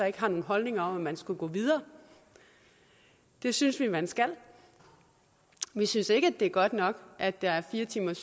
ikke har nogen holdninger om at man skal gå videre det synes vi man skal vi synes ikke at det er godt nok at der er fire timers